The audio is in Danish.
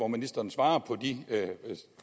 ministeren svarer på de